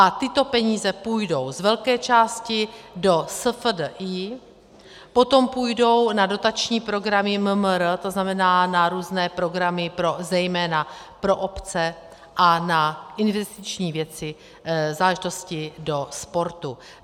A tyto peníze půjdou z velké části do SFDI, potom půjdou na dotační programy MMR, to znamená na různé programy zejména pro obce a na investiční věci, záležitosti do sportu.